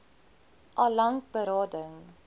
al lank berading